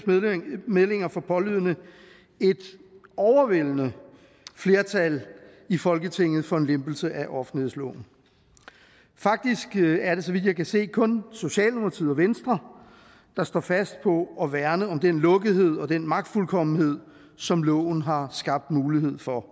meldinger for pålydende et overvældende flertal i folketinget for en lempelse af offentlighedsloven faktisk er det så vidt jeg kan se kun socialdemokratiet og venstre der står fast på at værne om den lukkethed og den magtfuldkommenhed som loven har skabt mulighed for